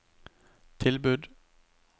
tilbud